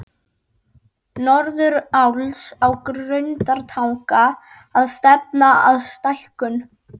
Norðuráls á Grundartanga að stefna að stækkun